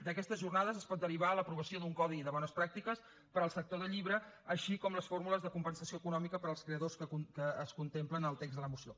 d’aquestes jornades es pot derivar l’aprovació d’un codi de bones pràctiques per al sector del llibre així com les fórmules de compensació econòmica per als creadors que es contempla en el text de la moció